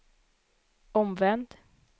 omvänd